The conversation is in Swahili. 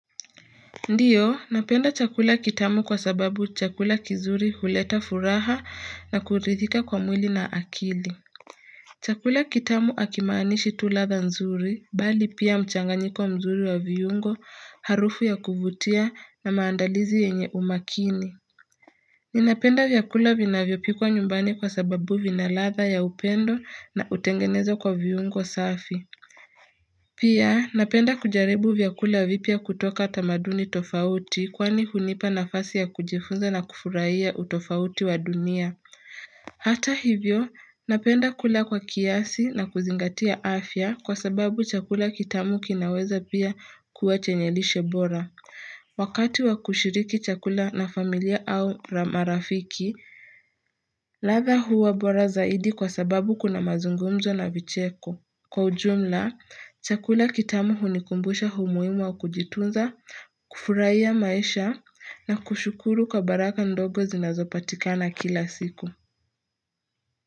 Ndiyo napenda chakula kitamu kwa sababu chakula kizuri huleta furaha na kurithika kwa mwili na akili Chakula kitamu hakimaanishi tu ladha nzuri bali pia mchanganyiko mzuri wa viungo harufu ya kuvutia na maandalizi yenye umakini Ninapenda vyakula vinavyopikwa nyumbani kwa sababu vina ladha ya upendo na hutengenzwa kwa viungo safi Pia napenda kujaribu vyakula vipya kutoka tamaduni tofauti kwani hunipa nafasi ya kujifunza na kufurahia utofauti wa dunia. Hata hivyo napenda kula kwa kiasi na kuzingatia afya kwa sababu chakula kitamu kinaweza pia kuwa chenye lishe bora. Wakati wa kushiriki chakula na familia au marafiki, ladha huwa bora zaidi kwa sababu kuna mazungumzo na vicheko. Kwa ujumla, chakula kitamu hunikumbusha umuhimu wa kujitunza, kufurahia maisha na kushukuru kwa baraka ndogo zinazopatikana kila siku.